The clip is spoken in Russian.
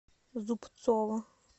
зубцова